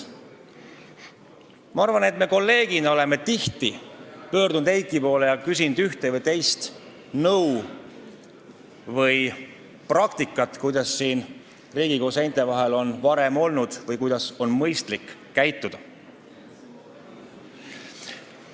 Me oleme kolleegidena tihti Eiki poole pöördunud ja küsinud nõu ühe või teise asja või praktika kohta, kuidas on siin Riigikogu seinte vahel varem olnud või kuidas on mõistlik käituda.